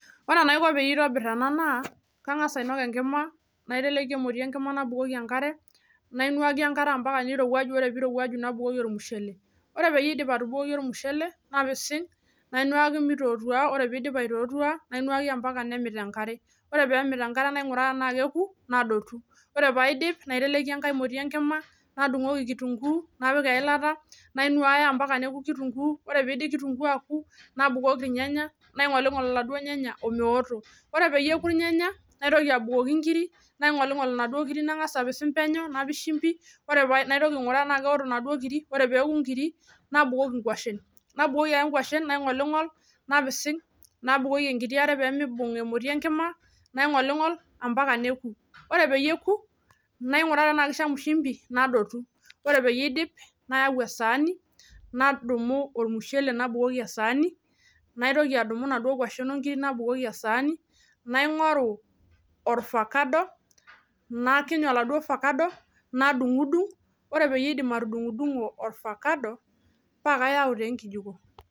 Wore enaiko pee aitobirr ena naa, kangas ainok enkima, naiteleki emoti enkima nabukoki enkare, nainuaki enkare ambaka nirowuaju wore pee irowuaja nabukoki ormushele. Wore pee aidip atubukoki ormushele, napising, nainuaki mitootua, wore pee idip aitootua, nainuaki ambaka nemit enkare. Wore pee emit enkare nainguraa enaa keeku, nadotu. Wore pee aidip, naiteleki enkae moti enkima, nadungoki kirrunguu, napik eilata, nainuaya ambaka neoku kirunguu, wore piidip kirunguu aaku, nabukoki ilnyanya, ningolingol iladuo nyanya omeoto. Wore peyie eeku ilnyanya, naitoki abukoki inkirik, naingolingol inaduo kiri nangas apising penyo, napik shimbi, wore pee naitoki ainguraa tenaa keoto inaduo kiri. Wore peeku inkirik, nabukoki ingwashen. Nabukoki ake ingwashen naingolingol, napising, nabukoki enkiti aare pee miibung emoti enkima, naingolingol ambaka neku. Wore peyie eku, nainguraa tenaa kishamu shimbi, nadotu. Wore peyie iidip, nayau esaani, nadumu ormushele nabukoki esaani, naitoki adumu inaduo kwashen onkirik nabukoki esaani, naingoru ovacado, nakiny oladuo ovacado, nadungudung, wore peyie aidip atudungudungo ovacado, paa kayau taa enkijiko.